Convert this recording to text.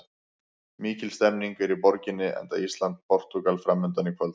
Mikil stemning er í borginni enda Ísland- Portúgal framundan í kvöld.